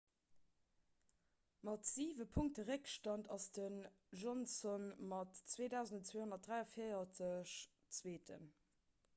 mat siwe punkte réckstand ass den johnson mat 2 243 zweeten